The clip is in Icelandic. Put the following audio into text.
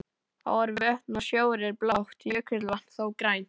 Ár, vötn og sjór er blátt, jökulvatn þó grænt.